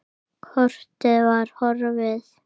Kortið var horfið!